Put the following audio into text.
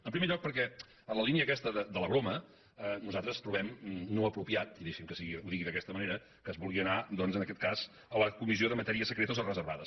en primer lloc perquè en la línia aquesta de la broma nosaltres trobem no apropiat i deixi’m que ho digui d’aquesta manera que es vulgui anar doncs en aquest cas a la comissió de matèries secretes o reservades